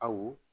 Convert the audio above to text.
Aw